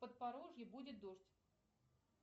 подпорожье будет дождь